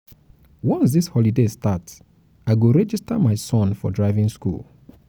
once dis holiday start i go register register my son for driving skool.